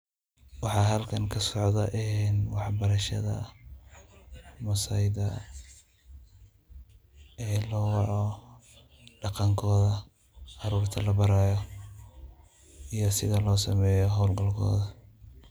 Waxa halkan kasocda en waxbarashada maasaida ee lowaco daqankoda caruurta labarayo iyo sida losameyo howlgalkoda.